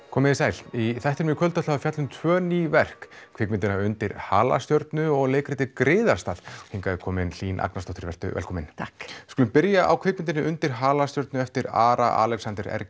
komiði sæl í þættinum í kvöld ætlum við að fjalla um tvö ný verk kvikmyndina undir halastjörnu og leikritið griðarstað hingað er komin Hlín Agnarsdóttir vertu velkomin takk við skulum byrja á kvikmyndinni undir halastjörnu eftir Ara Alexander